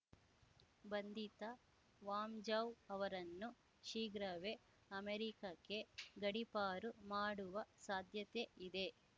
ಬಂಧಿತ ವಾಂಜೌ ಅವರನ್ನು ಶೀಘ್ರವೇ ಅಮೆರಿಕಕ್ಕೆ ಗಡೀಪಾರು ಮಾಡುವ ಸಾಧ್ಯತೆ ಇದೆ